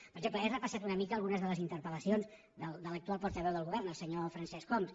per exemple he repassat una mica algunes de les interpellacions de l’actual portaveu del govern el senyor francesc homs